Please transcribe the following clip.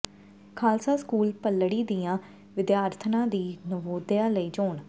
Khalsa school Bhallari ਦੀਆਂ ਵਿਦਿਆਰਥਣਾਂ ਦੀ ਨਵੋਦਿਆ ਲਈ ਚੋਣ